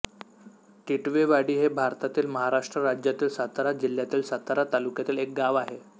टिटवेवाडी हे भारतातील महाराष्ट्र राज्यातील सातारा जिल्ह्यातील सातारा तालुक्यातील एक गाव आहे